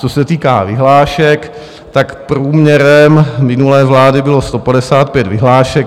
Co se týká vyhlášek, tak průměrem minulé vlády bylo 155 vyhlášek.